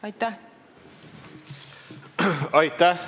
Aitäh!